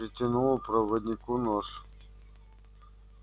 протянула проводнику нож